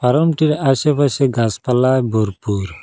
ফারমটির আশেপাশে গাসপালা গরপুর ।